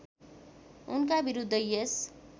उनका विरुद्ध यस